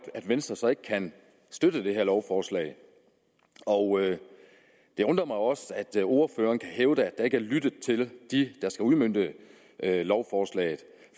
at venstre så ikke kan støtte det her lovforslag og det undrer mig også at ordføreren kan hævde at der ikke er blevet lyttet til dem der skal udmønte lovforslaget